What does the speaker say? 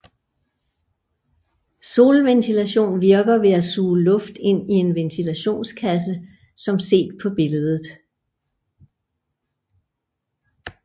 Solventilation virker ved at suge luft ind i en ventilationskasse som set på billedet